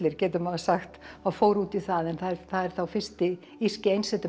getur maður sagt það fór út í það en það er þá fyrsti írski